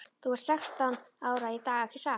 Þú ert sextán ára í dag ekki satt?